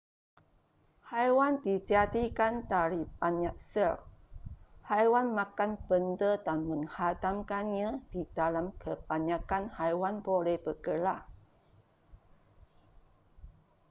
haiwan dijadikan dari banyak sel haiwan makan benda dan menghadamkannya di dalam kebanyakan haiwan boleh bergerak